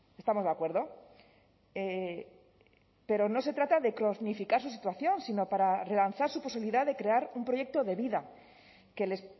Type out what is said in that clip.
estamos de acuerdo pero no se trata de cronificar su situación sino para relanzar su posibilidad de crear un proyecto de vida que les